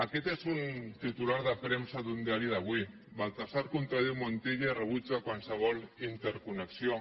aquest és un titular de premsa d’un diari d’avui baltasar contradiu montilla i rebutja qualsevol interconnexió